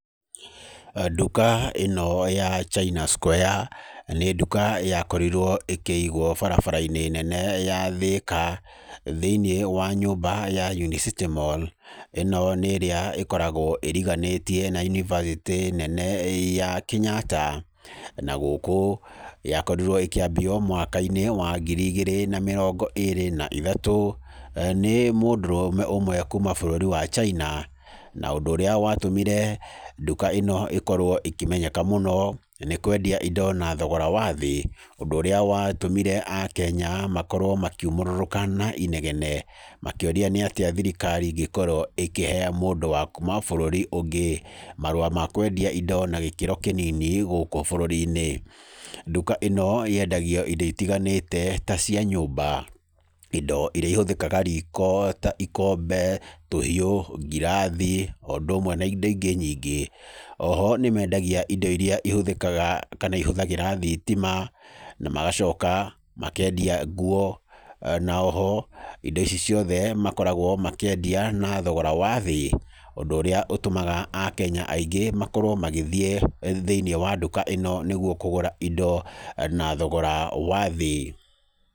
Nduka ĩno ya China Square, nĩ nduka yakorirwo ĩkĩigwo barabara-inĩ nene ya Thika, thĩinĩ wa nyũmba ya Unicity Mall, ĩno nĩ ĩrĩa ĩkoragwo ĩriganĩtie na yunivasĩtĩ nene ya Kenyatta. Na gũkũ, yakorirwo ĩkĩanjio mwaka-inĩ wa ngiri igĩrĩ na mirongo ĩĩrĩ na ithatũ, nĩ mũndũrũme ũmwe kuuma bũrũri wa China. Na ũndũ ũrĩa watũmire, nduka ĩno ĩkorwo ĩkĩmenyeka mũno nĩ kwendia indo na thogora wa thĩ. Ũndũ ũrĩa watũmire akenya makorwo makiumũrũrũka na inegene makĩũria nĩatĩa thirikari ĩngĩkorwo ĩkĩhe mũndũ wa kuma bũrũri ũngĩ marũa na kwendia indo na gĩkĩro kĩnini gũkũ bũrũri-inĩ. Nduka ĩno yendagia indo itiganĩte ta cia nyũmba, indo irĩa itũmĩkaga riko ta ikombe, tũhiũ, ngirathi o ũndũ na indo ingĩ nyingĩ. Oho nĩ mendagia indo iria ihũthĩkaga kana ihũthagĩra thitima, na magacoka makendia nguo. Na oho indo ici ciothe makoragwo makĩendia na thogora wa thĩ, ũndũ ũrĩa ũtũmaga akenya aingĩ makorwo magĩthiĩ thĩinĩ wa nduka ĩno nĩguo kũgũra indo, na thogora wa thiĩ.